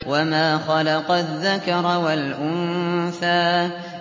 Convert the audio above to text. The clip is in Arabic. وَمَا خَلَقَ الذَّكَرَ وَالْأُنثَىٰ